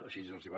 així els hi va